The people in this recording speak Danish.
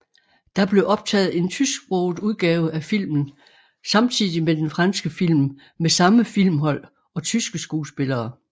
Der blev optaget en tysksproget udgave af filmen samtidig med den franske film med samme filmhold og tyske skuespillere